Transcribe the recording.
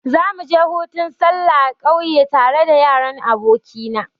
Za mu je hutun sallah kauye tare da yaran aboki na.